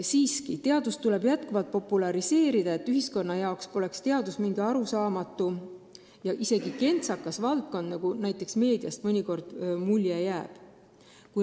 Siiski, teadust tuleb pidevalt populariseerida, et üldsuse jaoks poleks teadus mingi arusaamatu ja isegi kentsakas valdkond, nagu meediast mõnikord mulje jääb.